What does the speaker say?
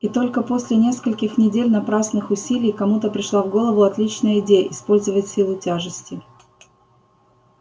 и только после нескольких недель напрасных усилий кому-то пришла в голову отличная идея использовать силу тяжести